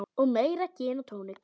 Og meira gin og tónik.